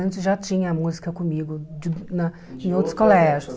Antes já tinha música comigo de na em outros colégios.